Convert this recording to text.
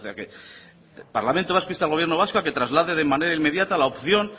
parlamento vasco insta al gobierno vasco a que traslade de manera inmediata la opción